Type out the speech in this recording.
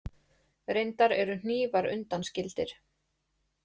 Reyndar eru hnífar undanskildir.